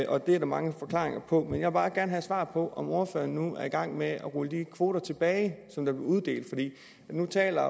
og det er der mange forklaringer på men jeg vil bare gerne have svar på om ordføreren nu er i gang med at rulle de kvoter tilbage som blev uddelt nu taler